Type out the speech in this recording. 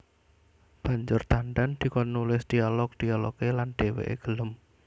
Banjur Tandan dikon nulis dialog dialogé lan dhèwèké gelem